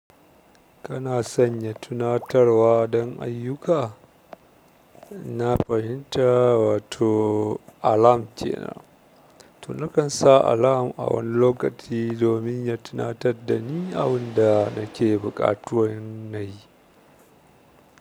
Kana sanya tunatarwa dan aiyuka? Na fahinta, wato alarm kenan. To nakan sa alarm a wani lokaci domin ya tunatar da ni abun da nake buƙatuwan na yi.